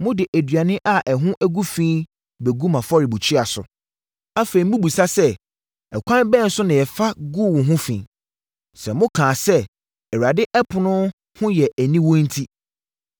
“Mode aduane a ɛho agu fi bɛgu mʼafɔrebukyia so. “Afei mobisa sɛ ‘Ɛkwan bɛn so na yɛfa guu wo ho fi?’ “Sɛ mokaa sɛ, Awurade ɛpono ho yɛ aniwu enti.